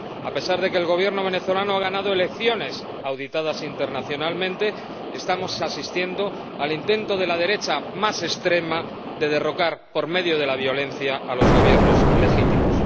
A pesar de que el Gobierno venezolano ha ganado elecciones auditadas internacionalmente, estamos asistiendo al intento de la derecha más extrema de derrocar por medio de la violencia a los Gobiernos legítimos.